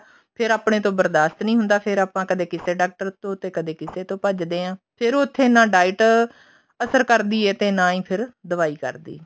ਫੇਰ ਆਪਣੇ ਤੋਂ ਬਰਦਾਸ਼ਤ ਨੀ ਹੁੰਦਾ ਫੇਰ ਆਪਾਂ ਕਦੇ ਕਿਸੇ ਡਾਕਟਰ ਤੋਂ ਕਦੇ ਕਿਸੇ ਡਾਕਟਰ ਤੋਂ ਭੱਜਦੇ ਹਾਂ ਫੇਰ ਉੱਥੇ ਨਾ diet ਅਸਰ ਕਰਦੀ ਹੈ ਤੇ ਨਾ ਹੀ ਫੇਰ ਦਵਾਈ ਕਰਦੀ ਹੈ